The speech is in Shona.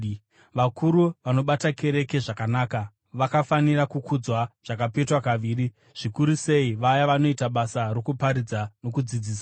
Vakuru vanobata kereke zvakanaka vakafanira kukudzwa zvakapetwa kaviri, zvikuru sei vaya vanoita basa rokuparidza nokudzidzisa.